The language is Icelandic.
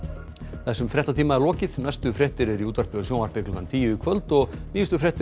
þessum fréttatíma er lokið næstu fréttir eru í útvarpi og sjónvarpi klukkan tíu í kvöld og nýjustu fréttir